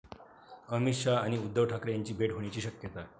अमित शहा आणि उद्धव ठाकरे यांची भेट होण्याची शक्यता